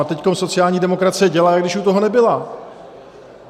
A teď sociální demokracie dělá, jak když u toho nebyla.